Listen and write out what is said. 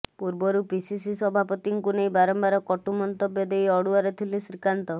ପୂର୍ବରୁ ପିସିସି ସଭାପତିଙ୍କୁ ନେଇ ବାରମ୍ବାର କଟୁ ମନ୍ତବ୍ୟ ଦେଇ ଅଡୁଆରେ ଥିଲେ ଶ୍ରୀକାନ୍ତ